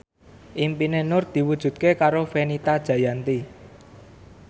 impine Nur diwujudke karo Fenita Jayanti